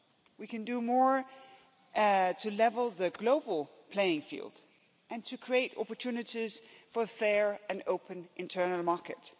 We can do more to level the global playing field and to create opportunities for a fair and open internal market.